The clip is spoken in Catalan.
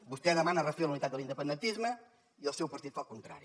vostè demana refer la unitat de l’independentisme i el seu partit fa el contrari